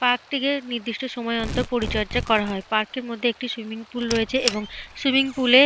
Park টিকে নির্দিষ্ট সময় অন্তর পরিচর্যা করা হয়। পার্কের মধ্যে একটি সুইমিং পুল রয়েছে এবং সুইমিং পুলে --